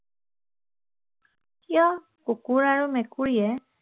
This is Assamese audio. কিয় কুকুৰ আৰু মেকুৰীয়ে